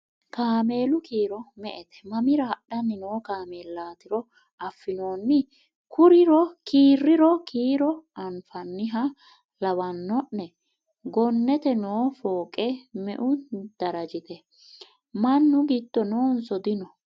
cameelu kiiro me'ette? mamira hadhanni noo cameelatiro afinoonni kiiriro kiiro anfanniha lawanno'ne? gonnete noo fooqe me'u darajitte? mannu giddo noonso dino?